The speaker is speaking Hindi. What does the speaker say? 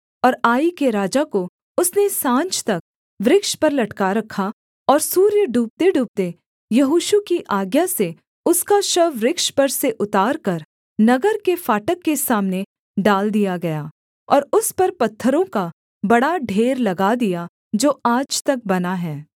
और आई के राजा को उसने साँझ तक वृक्ष पर लटका रखा और सूर्य डूबतेडूबते यहोशू की आज्ञा से उसका शव वृक्ष पर से उतारकर नगर के फाटक के सामने डाल दिया गया और उस पर पत्थरों का बड़ा ढेर लगा दिया जो आज तक बना है